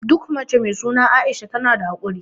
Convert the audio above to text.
Duk mace mai suna Aisha tana da hakuri.